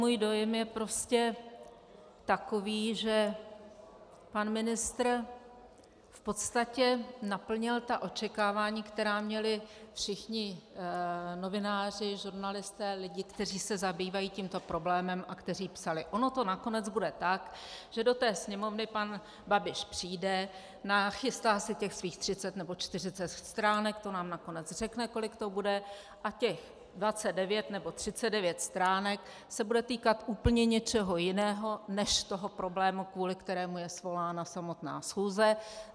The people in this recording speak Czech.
Můj dojem je prostě takový, že pan ministr v podstatě naplnil ta očekávání, která měli všichni novináři, žurnalisté, lidé, kteří se zabývají tímto problémem a kteří psali: Ono to nakonec bude tak, že do té Sněmovny pan Babiš přijde, nachystá si těch svých 30 nebo 40 stránek, to nám nakonec řekne, kolik to bude, a těch 29 nebo 39 stránek se bude týkat úplně něčeho jiného než toho problému, kvůli kterému je svolána samotná schůze.